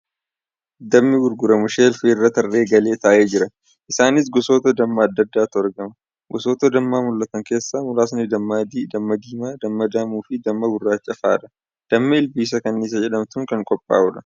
Dammi gurguramu sheelfii irra tarree galee taa'ee jira. Isaanis gosoota dammaa adda addaatu argama. Gosoota dammaa mul'atan keesaaa muraasni damma adii, damma diimaa, damma daamuu fi damma gurraacha fa'aadha. Dammi ilbiisa kanniisa jedhamtuun kan qophaa'udha.